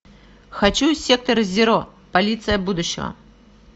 хочу сектор зеро полиция будущего